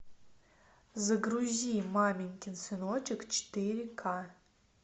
загрузи маменькин сыночек четыре ка